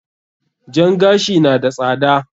Jan gashi na da tsada.